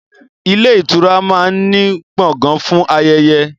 Ilé ìtura máa ń ní Gbọ̀ngán fún ayẹyẹ